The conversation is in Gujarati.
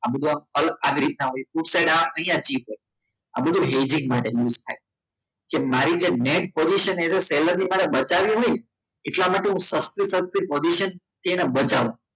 આ બધું આ રીતના હોય અહીંયા થી પણ આ બધું basic માટે move થાય મારી જે નેટ એ તો seller ની માટે વધારે નહી એટલા માટે હું સસ્તું સસ્તું બતાવું